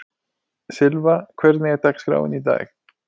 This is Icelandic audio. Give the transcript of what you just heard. Sylva, hvernig er dagskráin í dag?